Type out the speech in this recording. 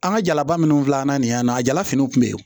An ka jalaba minnu filɛ an na nin y'an na a jala finiw kun bɛ yen